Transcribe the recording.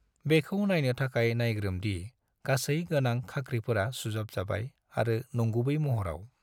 बेखौ नायनो थाखाय नायग्रोम दि गासै गोनां खाख्रिफोरा सुजाबजाबाय आरो नंगुबै महराव।